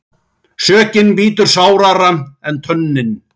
Sökin bítur sárara en tönnin.